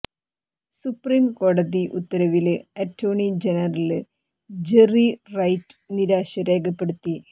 supreme കോടതി ഉത്തരവില് attorney general Jerry Wright നിരാശ രേഖപ്പെടുത്തി